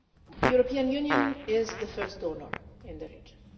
The European Union is the first donor in the region.